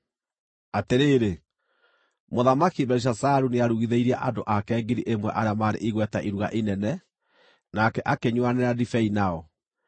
Atĩrĩrĩ, Mũthamaki Belishazaru nĩarugithĩirie andũ ake ngiri ĩmwe arĩa maarĩ igweta iruga inene, nake akĩnyuuanĩra ndibei nao.